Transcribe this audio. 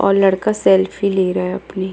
और लड़का सेल्फी ले रहा है अपनी --